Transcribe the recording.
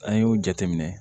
An y'o jateminɛ